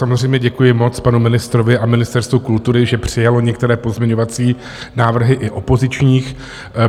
Samozřejmě děkuji moc panu ministrovi a Ministerstvu kultury, že přijalo některé pozměňovací návrhy i opozičních